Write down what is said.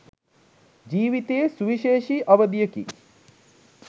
ජීවිතයේ සුවිශේෂි අවධියකි.